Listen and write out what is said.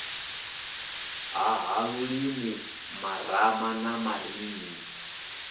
ṱhaha lulimi marama na marinini